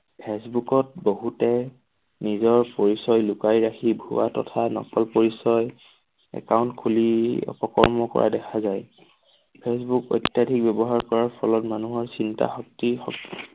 ফেচবুকত বহুতে নিজৰ পৰিচয় লুকাই ৰাখি ভুৱা তথা নকল পৰিচয় account খুলি অপকৰ্ম কৰা দেখা যায়। ফেচবুক অত্যাধিক ব্যৱহাৰ কৰাৰ ফলত মানুহৰ চিন্তা শক্তি